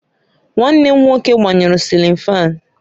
Nwanne m nwoke gbanyuru cilin fáan